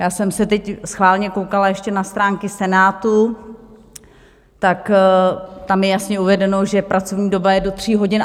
Já jsem se teď schválně koukala ještě na stránky Senátu, tak tam je jasně uvedeno, že pracovní doba je do tří hodin.